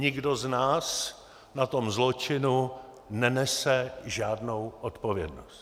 Nikdo z nás na tom zločinu nenese žádnou odpovědnost.